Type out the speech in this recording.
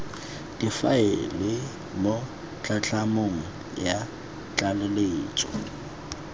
difaele mo tlhatlhamanong ya tlaleletso